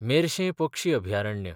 मेर्शें पक्षी अभयारण्य